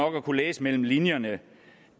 at kunne læse mellem linjerne